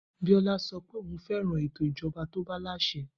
Biola sọ pé òun fẹ́ràn ètò ìjọba tobalàsẹ